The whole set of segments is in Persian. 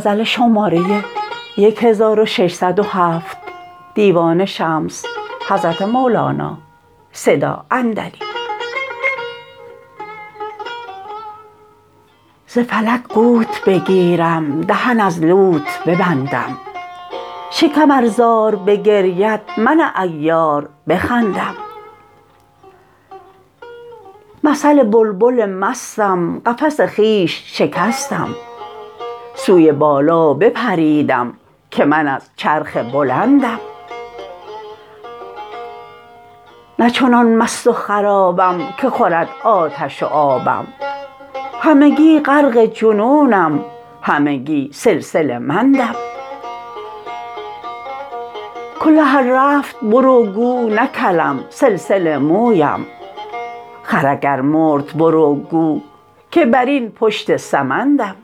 ز فلک قوت بگیرم دهن از لوت ببندم شکم ار زار بگرید من عیار بخندم مثل بلبل مستم قفس خویش شکستم سوی بالا بپریدم که من از چرخ بلندم نه چنان مست و خرابم که خورد آتش و آبم همگی غرق جنونم همگی سلسله مندم کله ار رفت بر او گو نه کلم سلسله مویم خر اگر مرد بر او گو که بر این پشت سمندم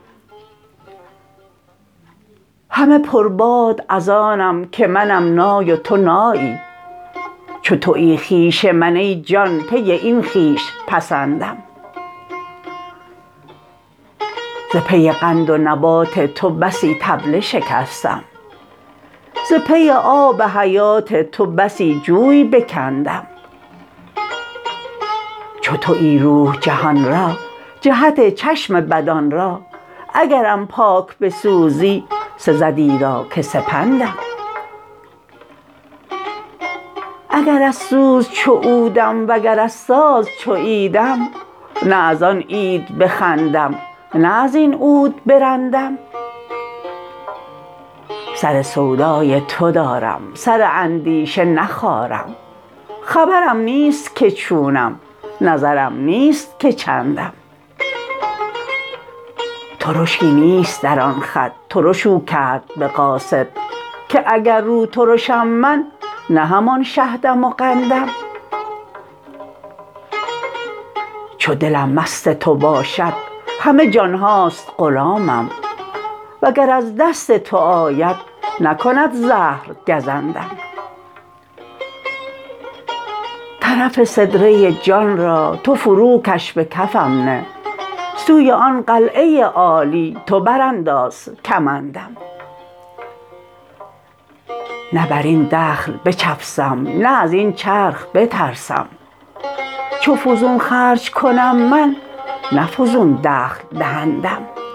همه پرباد از آنم که منم نای و تو نایی چو توی خویش من ای جان پی این خویش پسندم ز پی قند و نبات تو بسی طبله شکستم ز پی آب حیات تو بسی جوی بکندم چو توی روح جهان را جهت چشم بدان را اگرم پاک بسوزی سزد ایرا که سپندم اگر از سوز چو عودم وگر از ساز چو عیدم نه از آن عید بخندم نه از این عود برندم سر سودای تو دارم سر اندیشه نخارم خبرم نیست که چونم نظرم نیست که چندم ترشی نیست در آن خد ترش او کرد به قاصد که اگر روترشم من نه همان شهدم و قندم چو دلم مست تو باشد همه جان هاست غلامم وگر از دست تو آید نکند زهر گزندم طرف سدره جان را تو فروکش به کفم نه سوی آن قلعه عالی تو برانداز کمندم نه بر این دخل بچفسم نه از این چرخ بترسم چو فزون خرج کنم من نه فزون دخل دهندم